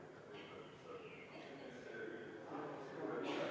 Palun võtta seisukoht ja hääletada!